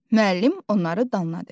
Müəllim onları danladı.